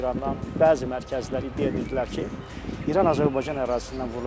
Qonşu İrandan bəzi mərkəzlər iddia edirdilər ki, İran Azərbaycan ərazisindən vurulacaq.